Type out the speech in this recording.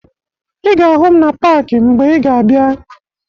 Ị ga-ahụ m na paakị mgbe ị ga-abịa